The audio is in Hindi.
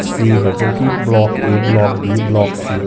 सी है जोकि block A block B block C --